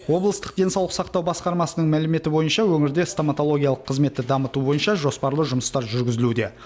облыстық денсаулық сақтау басқармасының мәліметі бойынша өңірде стоматологиялық қызметті дамыту бойынша жоспарлы жұмыстар жүргізілуде